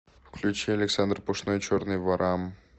включи александр пушной черный ворамм